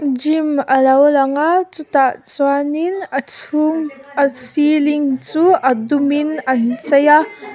gym a lo lang a chutah chuanin a chung a ceiling chu a dum in an chei a.